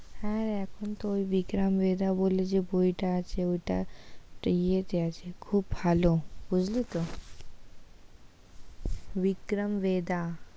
হ্যাঁ, এখন তো ওই বিক্রম ভেদা বলে যে বইটা আছে, ওটা একটু ইয়েতে আছে খুব ভালো, বুঝলি তো বিক্রম ভেদা"